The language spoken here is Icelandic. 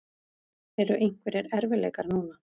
Eru einhverjir erfiðleikar núna?